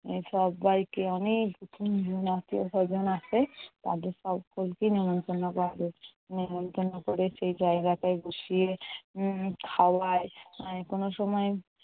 সব্বাইকে অনেক আত্মীয় স্বজন আসে। তাদের সক্কলকে নেমতন্ন করে, নেমতন্ন কোরে সেই জায়গাটায় বসিয়ে উম খাওয়ায়। কোনো সময়